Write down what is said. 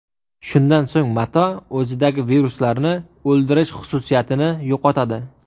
Shundan so‘ng mato o‘zidagi viruslarni o‘ldirish xususiyatini yo‘qotadi.